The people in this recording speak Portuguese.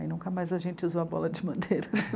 Aí nunca mais a gente usou a bola de madeira.